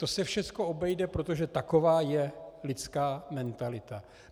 To se všechno obejde, protože taková je lidská mentalita.